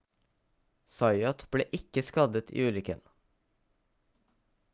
zayat ble ikke skadet i ulykken